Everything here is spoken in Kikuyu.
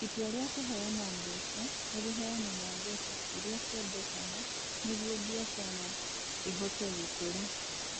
Itua rĩa kũheana mbeca nĩ rĩheanaga mbeca iria ciendekaga nĩguo biacara ĩhote gũkũra.